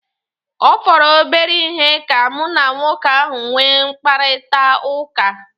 Ọ fọrọ obere ihe ka mụ na nwoke ahu nwee mkparịkọtaụka